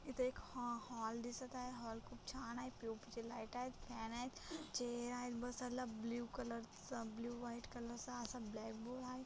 इथे एक हॉ हॉल दिसत आहे हॉल खुप छान आहे पी.ओ.पी. चे लाइटा आहेत फॅन आहेत चेअर आहेत बसायला ब्लू कलरचा ब्लू व्हाइट कलर चा असा ब्लॅक बोर्ड व्हाई--